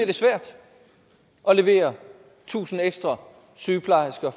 det svært at levere tusind ekstra sygeplejersker